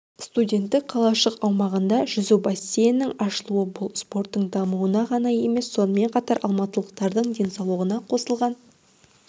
студенттік қалашық аумағында жүзу бассейнінің ашылуы бұл спорттың дамуына ғана емес сонымен қатар алматылықтардың денсаулығына қосылған